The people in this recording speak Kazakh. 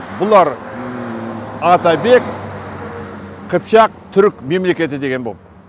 бұлар атабек қыпшақ түрік мемлекеті деген болды